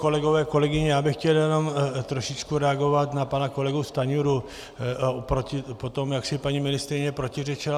Kolegové, kolegyně, já bych chtěl jenom trošičku reagovat na pana kolegu Stanjuru o tom, jak si paní ministryně protiřečila.